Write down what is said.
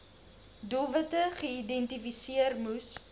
doelwitte geïdentifiseer moes